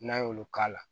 N'an y'olu k'a la